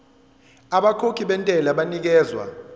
abakhokhi bentela banikezwa